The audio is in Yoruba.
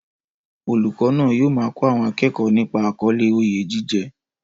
Olùkọ́ náà yóò máa kọ́ àwọn akẹ́kọ̀ọ́ nípa àkọlé "Oyè jíjẹ"